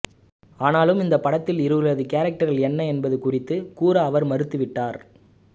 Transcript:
ஆனாலும் இந்த படத்தில் இருவர்களது கேரக்டர்கள் என்ன என்பது குறித்து கூற அவர் மறுத்துவிட்டார்